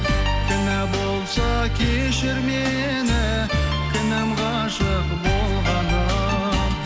кінә болса кешір мені кінәм ғашық болғаным